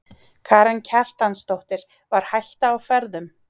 Karen Kjartansdóttir: Var hætta á ferðum?